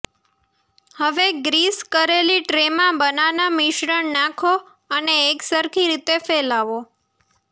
હવે ગ્રીસ કરેલી ટ્રેમાં બનાના મિશ્રણ નાંખો અને એકસરખી રીતે ફેલાવો